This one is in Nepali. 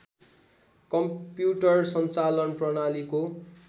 कम्युटर सञ्चालन प्रणालीको